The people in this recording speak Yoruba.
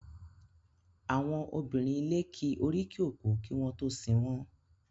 Àwọn obìnrin ilé ki oríkì òkú kí wọ́n tó sin wọ́n.